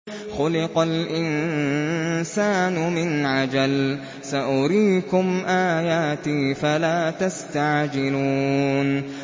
خُلِقَ الْإِنسَانُ مِنْ عَجَلٍ ۚ سَأُرِيكُمْ آيَاتِي فَلَا تَسْتَعْجِلُونِ